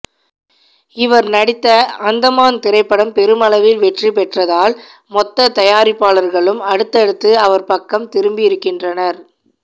இவர் நடித்த அந்த மான் திரைப்படம் பெருமளவில் வெற்றி பெற்றதால் மொத்த தயாரிப்பாளர்களும் அடுத்தடுத்து இவர் பக்கம் திரும்பியிருக்கின்றனர்